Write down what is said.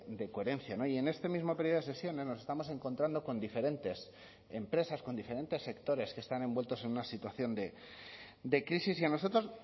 de coherencia y en este mismo periodo de sesiones nos estamos encontrando con diferentes empresas con diferentes sectores que están envueltos en una situación de crisis y a nosotros